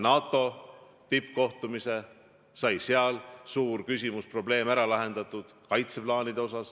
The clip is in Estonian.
NATO tippkohtumisel sai suur kaitseplaanide küsimus ära lahendatud.